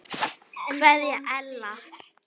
Kveðja Ella.